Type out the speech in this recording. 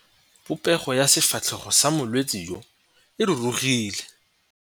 Popêgo ya sefatlhego sa molwetse yo, e rurugile.